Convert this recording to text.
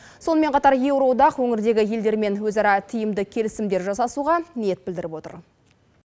сонымен қатар еуроодақ өңірдегі елдермен өзара тиімді келісімдер жасасуға ниет білдіріп отыр